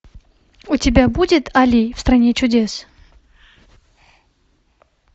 у тебя будет али в стране чудес